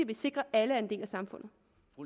vi sikrer at alle er en del af samfundet